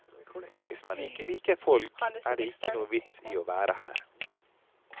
Hvis man ikke liker folk, er det ikke noen vits i å være her.